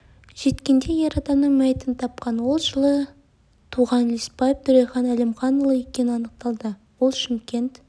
жеткенде ер адамның мәйітін тапқан ол жылы туған лесбаев төрехан әлімханұлы екені анықталды ол шымкент